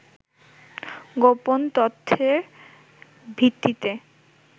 গোপন তথ্যের ভিত্তিতে